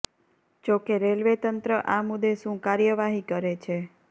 જોકે રેલ્વે તંત્ર આ મુદ્દે શું કાર્યવાહી કરે છે